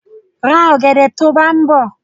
Ra ọ̀gẹ̀dẹ̀ to bá ń bọ̀!